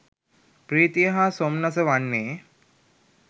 ප්‍රීතිය හා සොම්නස වන්නේ